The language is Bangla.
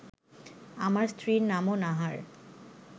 আমার স্ত্রীর নামও নাহার